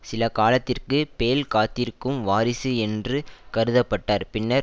சில காலத்திற்கு பேல் காத்திருக்கும் வாரிசு என்று கருத பட்டார் பின்னர்